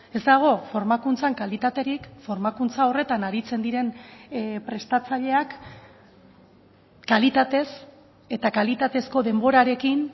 ez dago formakuntzan kalitaterik formakuntza horretan aritzen diren prestatzaileak kalitatez eta kalitatezko denborarekin